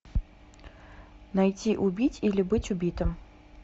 найти убить или быть убитым